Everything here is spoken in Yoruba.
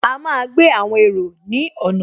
A máa gbé àwọn èrò ní ọ̀nà